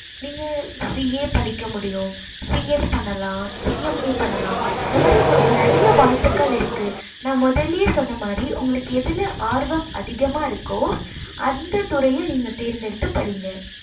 நீங்க CA படிக்க முடியும் CS பண்ணலாம் CMA பண்ணலாம் இந்த மாறி உங்களுக்கு நெறைய வாய்ப்பு இருக்கு நான் முதலையே சொன்ன மாறி உங்களுக்கு எதுல ஆர்வம் அதிகமா இருக்கோ அந்த துறைய நீங்க தேர்ந்து எடுத்து படிங்க